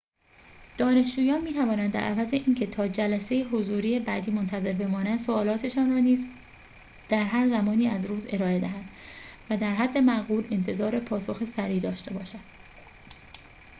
دانشجویان می‌توانند در عوض اینکه تا جلسه حضوری بعدی منتظر بمانند سؤالاتشان را نیز در هر زمانی از روز ارائه دهند و در حد معقول انتظار پاسخ سریع داشته باشند